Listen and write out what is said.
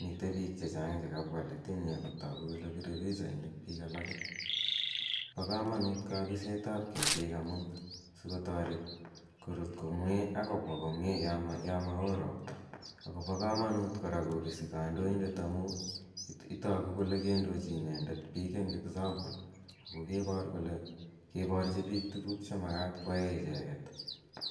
mitei pik che chang' che kapwa let eng' yu ako tagu kole pire pichainik pik alake. Pa kamanut Kapiset ap ketik asikotaret koruut komye ak kopwa komye ya ma oo ropta akopa kamanut kora kopisi kandoindet amu tagu kole kendochi inendet pik eng' cs]example ako kepar kole keparchi pik tuguk che makat koyae icheget.